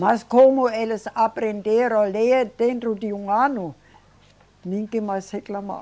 Mas como eles aprenderam a ler dentro de um ano, ninguém mais reclamava.